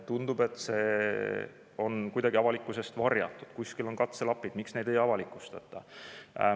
Tundub, et see on kuidagi avalikkuse eest varjatud, kuskil on katselapid, miks neid ei avalikustata?